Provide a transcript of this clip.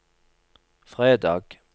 fredag